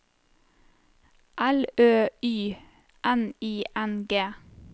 L Ø Y N I N G